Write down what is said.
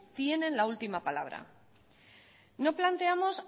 tienen la última palabra no planteamos